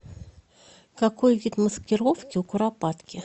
какой вид маскировки у куропатки